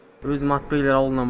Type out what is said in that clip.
өзім атбегілер ауылынан